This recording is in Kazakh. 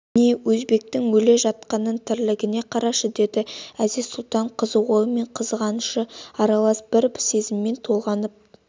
міне өзбектің өле жатқанының тірлігін қарашы деді әзиз-сұлтан қызығуы мен қызғанышы аралас бір сезіммен толғанып